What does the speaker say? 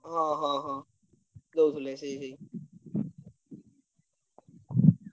ହଁ ହଁ ହଁ ଦଉଥିଲେ ସେଇ ସେଇ